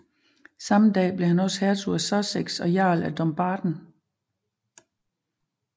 Samme dag blev han også Hertug af Sussex og Jarl af Dumbarton